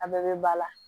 A bɛɛ bɛ ba la